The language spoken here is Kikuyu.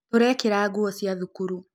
Tũraĩkĩra ngũo cia thukuru